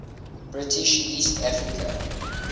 british east africa